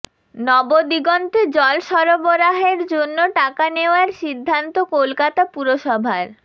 নবদিগন্তে জল সরবারহের জন্য টাকা নেওয়ার সিদ্ধান্ত কলকাতা পুরসভার